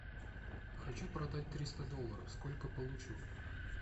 хочу продать триста долларов сколько получу